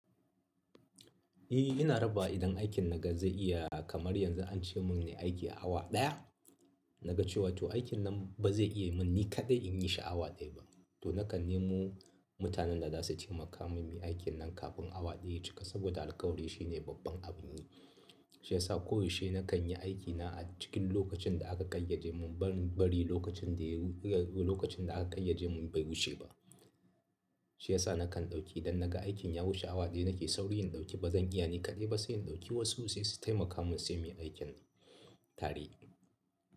Eh ina rabawa idan aikin na ga zai iya kamar yanzu an ce mun ne aiki a awa ɗaya. Na ga cewa to aikin nan ba zai iya mun ni kaɗai in yi shi a awa ɗaya ba. To na kan nemo mutanen da za su taimaka mun muyi aikin nan kafin awa ɗaya ya cika, saboda alƙawari shine babban abun yi. Shi ya sa koyaushe na kan yi aikina a cikin lokacin da aka ƙayyade mun ban bari lokacin daya-- lokacin da aka ƙayyade mun bai wuce ba. Shi ya sa na kan ɗauki, idan na ga aikin ya wuce awa ɗaya, na ke sauri in ɗauki, bazan iya ni kaɗai ba, sai in ɗauki wasu sai su taimaka mun sai mu yi aikin tare.